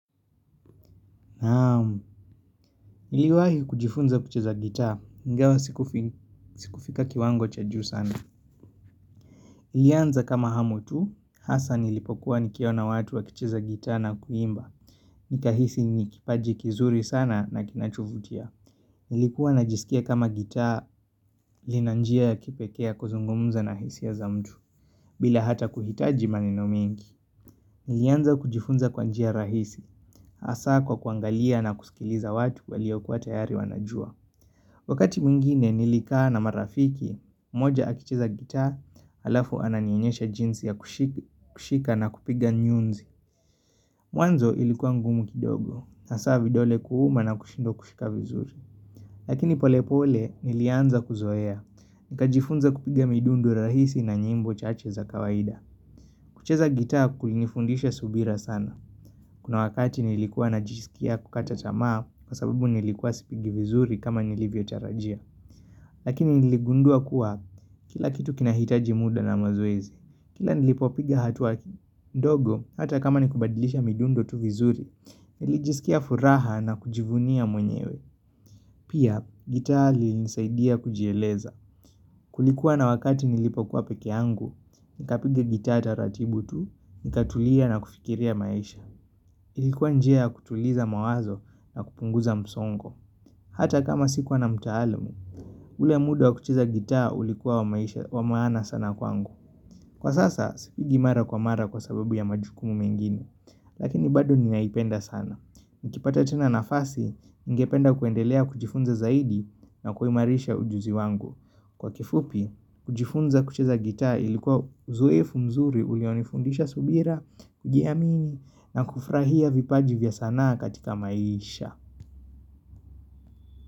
Naam, niliwahi kujifunza kucheza gitaa, ingawa sikufika kiwango cha juu sana. Ilianza kama hamu tu, hasa nilipokuwa nikiona watu wakicheza gitaa na kuimba. Nikahisi nikipaji kizuri sana na kinachovutia. Nilikuwa najisikia kama gitaa, lina njia ya kipekee ya kuzungumza na hisia za mtu, bila hata kuhitaji maneno mingi. Nilianza kujifunza kwa njia rahisi, hasa kwa kuangalia na kusikiliza watu waliokuwa tayari wanajua. Wakati mwingine nilikaa na marafiki, moja akicheza gitaa, alafu ananionyesha jinsi ya kushika na kupiga nyuzi. Mwanzo ilikuwa ngumu kidogo, hasa vidole kuuma na kushindwa kushika vizuri. Lakini pole pole nilianza kuzoea, nikajifunza kupiga midundo rahisi na nyimbo chache za kawaida. Kucheza gitaa kulinifundisha subira sana. Kuna wakati nilikuwa najisikia kukata tamaa, kwa sabubu nilikua sipigi vizuri kama nilivyotarajia. Lakini niligundua kuwa kila kitu kinahitaji muda na mazoezi. Kila nilipopiga hatua ndogo, hata kama ni kubadilisha midundo tu vizuri, nilijisikia furaha na kujivunia mwenyewe. Pia, gitaa ilinisaidia kujieleza. Kulikuwa na wakati nilipokuwa pekeangu, nikapiga gitaa taratibu tu, nikatulia na kufikiria maisha. Ilikuwa njia kutuliza mawazo na kupunguza msongo. Hata kama sikuwa na mtaalam, ule muda wa kucheza gitaa ulikuwa wa maana sana kwangu. Kwa sasa, sipigi mara kwa mara kwa sababu ya majukumu mengine, lakini bado ninaipenda sana. Nikipata tena nafasi, ningependa kuendelea kuchifunza zaidi na kuimarisha ujuzi wangu. Kwa kifupi, kujifunza kucheza gitaa ilikuwa uzoefu mzuri ulionifundisha subira, kujiamini, na kufrahia vipaji vya sanaa katika maisha.